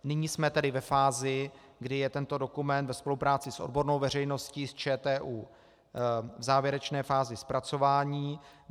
Nyní jsme tedy ve fázi, kdy je tento dokument ve spolupráci s odbornou veřejností, s ČTÚ, v závěrečné fázi zpracování.